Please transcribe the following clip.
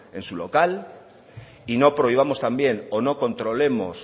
en su local y no prohibamos también o no controlemos